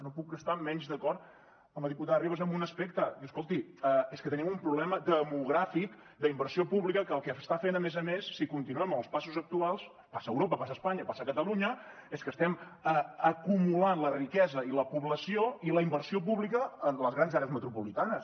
no puc estar menys d’acord amb la diputada ribas amb un aspecte i escolti és que tenim un problema demogràfic d’inversió pública que el que està fent a més a més si continuem amb els passos actuals passa a europa passa a espanya passa a catalunya és que estem acumulant la riquesa i la població i la inversió pública en les grans àrees metropolitanes